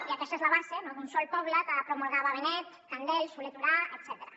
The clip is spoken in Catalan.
i aquesta és la base no d’un sol poble que promulgava benet candel solé i tura etcètera